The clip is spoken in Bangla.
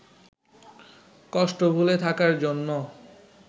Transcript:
কষ্ট ভুলে থাকার জন্য